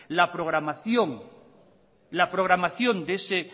la programación de ese